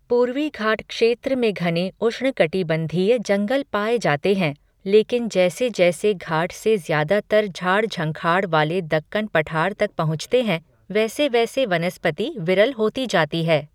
पूर्वी घाट क्षेत्र में घने उष्णकटिबंधीय जंगल पाए जाते हैं, लेकिन जैसे जैसे घाट से ज़्यादातर झाड़ झंखाड़ वाले दक्कन पठार तक पहुँचते हैं वैसे वैसे वनस्पति विरल होती जाती है।